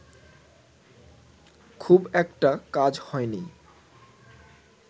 খুব একটা কাজ হয়নি